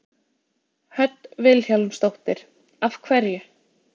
Hödd Vilhjálmsdóttir: Af hverju?